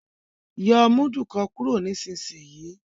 yóó mudu kán kúrò nísìsiyìí!